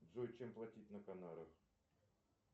джой чем платить на канарах